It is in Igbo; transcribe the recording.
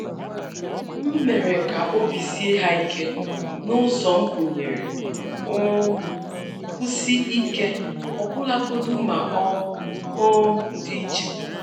M mere ka obi sie ha ike na ụzọ m gụnyere um nkwụsi ike, ọbụlagodi ma ọ um dị iche.